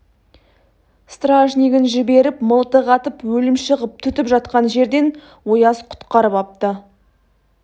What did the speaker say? стражнигін жіберіп мылтық атып өлімші қып түтіп жатқан жерден ояз құтқарып апты